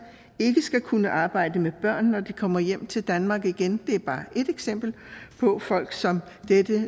ikke skal kunne arbejde med børn når de kommer hjem til danmark igen det er bare ét eksempel på folk som dette